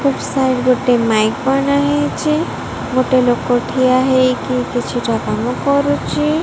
ଗୋଟେ ମାଇକ ବନା ହେଇଛି ଗୋଟେ ଲୋକ ଠିଆ ହେଇକି କିଛିଟା କାମ କରୁଛି।